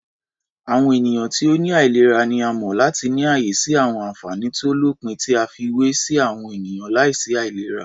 Àwọn ènìyàn ti ó ní àìlera ni a mọ̀ láti ní ààyè sí àwọn ànfàní tó lópin tí a fiwé sí àwọn ènìyàn láìsí àìlera.